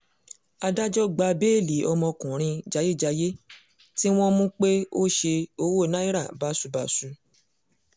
adájọ́ gba béèlì ọmọkùnrin jayéjayé tí wọ́n mú pé ó ṣe owó náírà báṣubàṣu